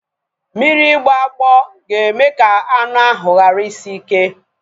Mmiri ịgboagbo ga-eme ka anu ahu ghara isi ike